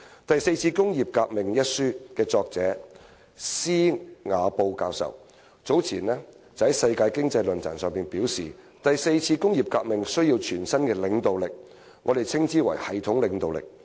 《第四次工業革命》一書的作者施瓦布教授早前在世界經濟論壇上表示："第四次工業革命需要全新的領導力，我們稱之為'系統領導力'。